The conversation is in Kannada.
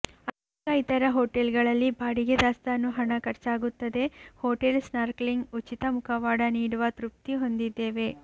ಅನೇಕ ಇತರ ಹೋಟೆಲ್ಗಳಲ್ಲಿ ಬಾಡಿಗೆ ದಾಸ್ತಾನು ಹಣ ಖರ್ಚಾಗುತ್ತದೆ ಹೋಟೆಲ್ ಸ್ನಾರ್ಕ್ಲಿಂಗ್ ಉಚಿತ ಮುಖವಾಡ ನೀಡುವ ತೃಪ್ತಿ ಹೊಂದಿದ್ದೇವೆ